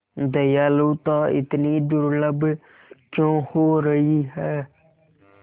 दयालुता इतनी दुर्लभ क्यों हो रही है